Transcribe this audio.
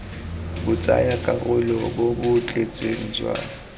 botsayakarolo bo bo tletseng jwa